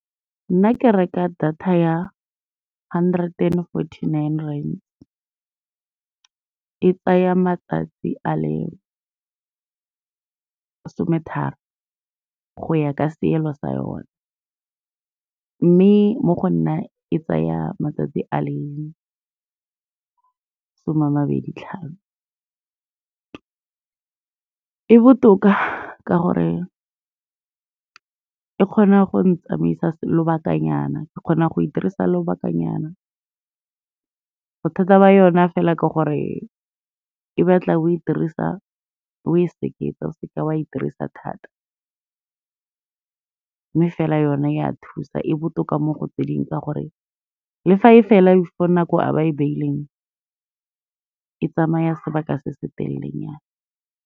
Nna ke reka data ya hundred and forty-nine rand, e tsaya matsatsi a le sometharo go ya ka seelo sa yone, mme mo go nna e tsaya matsatsi a le some a mabedi tlhano. E botoka ka gore e kgona go ntsamaisa lobakanyana, ke kgona go e dirisa lobakanyana, bothata ba yona fela ke gore e batla o e dirisa o e seketa, o seke wa e dirisa thata, mme fela yone e a thusa e botoka mo go tse dingwe ka gore le fa e fela before nako a ba e beileng, e tsamaya sebaka se se telelenyana.